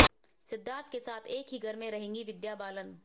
सिद्धार्थ के साथ एक ही घर में रहेंगी विद्या बालन